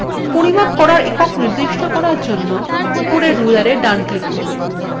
পরিমাপ করার একক নির্দিষ্ট করার জন্য উপরের rulerএ ডান click করুন